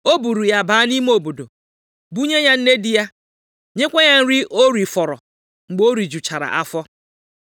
O buuru ya baa nʼime obodo, bunye ya nne di ya, nyekwa ya nri o rifọrọ mgbe o rijuchara afọ.